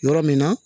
Yɔrɔ min na